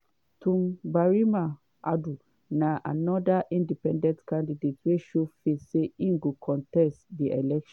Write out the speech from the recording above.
twum barima adu na anoda independent candidate wey show face say im go contest di election.